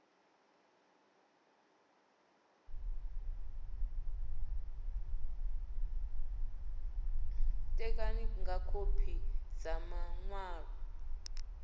ṋekane nga khophi dza maṅwalo